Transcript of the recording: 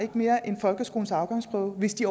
mere end folkeskolens afgangsprøve hvis de